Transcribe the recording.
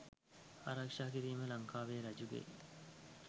ආරක්‍ෂා කිරීම ලංකාවේ රජුගේ